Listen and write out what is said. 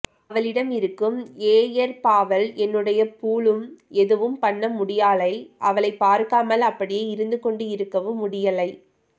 அவளிடம் இருக்கும் ஏஎர்பாவல் என்னுடைய பூளும் எதுவும் பண்ண முடியாலை அவளை பார்க்காமல் அப்படியே இருந்து கொண்டு இருக்கவும் முடியலை